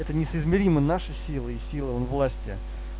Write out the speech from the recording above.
это несоизмеримо наши силы и силы власти